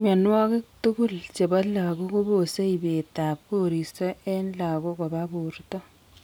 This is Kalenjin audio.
Mianwogik tugul chebo lagok kobose ibet ab koristo en lagok koba borto